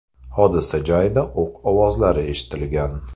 Hodisa joyida o‘q ovozlari eshitilgan.